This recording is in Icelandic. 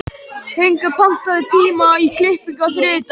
Högna, pantaðu tíma í klippingu á þriðjudaginn.